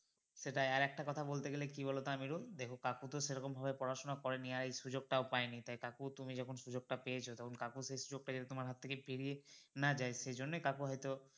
সেটাই আর আরেকটা কথা বলতে গেলে কী বলোতো আমিরুল দেখো কাকু তো সেরকম ভাবে পড়াশোনা করেনি আর এই সুযোগ টাও পায়নি তাই কাকু তুমি যখন সুযোগ টা পেয়েছো তখন কাকু সেই সুযোগ টা যাতে তোমার থেকে পেরিয়ে না যায় সেজন্যেই কাকু হয়তো